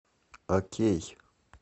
окей